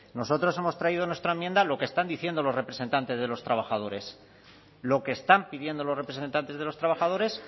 nosotros hemos traído en nuestra enmienda lo que están diciendo los representantes de los trabajadores lo que están pidiendo los representantes de los trabajadores